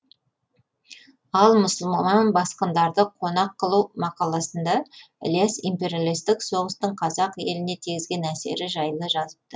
ал мұсылман басқындарды қонақ қылу мақаласында ілияс империалистік соғыстың қазақ еліне тигізген әсері жайлы жазыпты